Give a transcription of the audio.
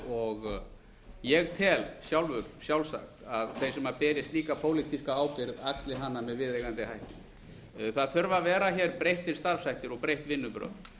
og ég tel sjálfur sjálfsagt að þeir sem beri slíka pólitíska ábyrgð axli hana með viðunandi hætti það þurfa að vera breyttir starfshættir og breytt vinnubrögð